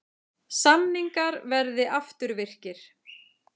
Samningar verði afturvirkir